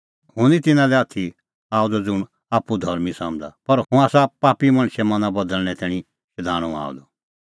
हुंह निं तिन्नां लै आथी आअ द ज़ुंण आप्पू धर्मीं समझ़ा पर हुंह आसा पापी मणछे मना बदल़णें तैणीं शधाणूं आअ द